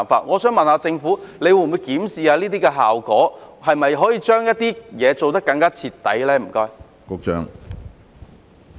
我想問政府，會否檢視有關效果，是否可以將一些工作做得更加徹底呢？